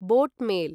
boat mail